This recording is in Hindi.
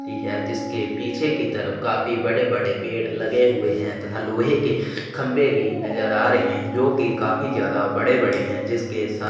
ती है जिसके पीछे की तरफ काफी बड़े - बड़े पेड़ लगे हुए है तथा लोहे के खम्भे भी नजर आ रहे है जो की काफी ज्यादा बड़े - बड़े है जिसके साथ --